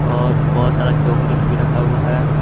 और बहोत सारा चॉकलेट भी रखा हुआ है।